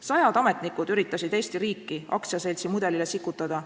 Sajad ametnikud üritasid Eesti riiki aktsiaseltsi mudelile sikutada.